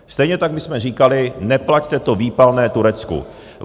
Stejně tak my jsme říkali: neplaťte to výpalné Turecku.